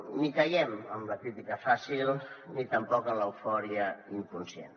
ni caiem en la crítica fàcil ni tampoc en l’eufòria inconscient